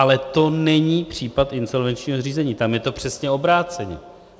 Ale to není případ insolvenčního řízení, tam je to přesně obráceně.